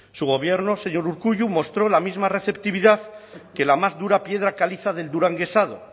su gobierno señor urkullu mostró la misma receptividad que la más dura piedra caliza del duranguesado